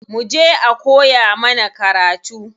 Muje a koya mana karatu.